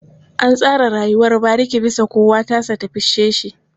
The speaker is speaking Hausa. An tsara rayuwar bariki bisa kowa tasa ta fice shi.